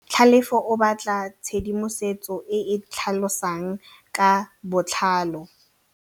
Tlhalefô o batla tshedimosetsô e e tlhalosang ka botlalô.